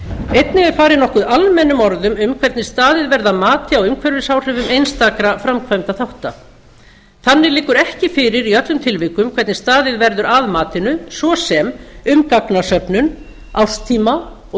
einnig er farið nokkuð almennum orðum um hvernig staðið verði að mati á umhverfisáhrifum einstakra framkvæmdarþátta þannig liggur ekki fyrir í öllum tilvikum hvernig staðið verður að matinu svo sem um gagnasöfnun árstíma og